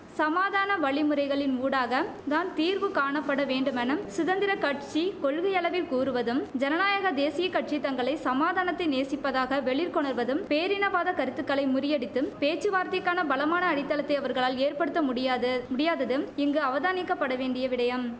சமாதான வழிமுறைகளின் ஊடாக தான் தீர்வு காணப்பட வேண்டுமென சுதந்திர கட்சி கொள்கையளவில் கூறுவதும் ஐன நாயக தேசிய கட்சி தங்களை சமாதானத்தை நேசிப்பதாக வெளிர்க்கொணர்வதும் பேரினவாத கருத்துக்களை முறியடித்தும் பேச்சுவார்த்தைக்கான பலமான அடித்தளத்தை அவர்களால் ஏற்படுத்த முடியாது முடியாததும் இங்கு அவதானிக்க வேண்டிய விடயம்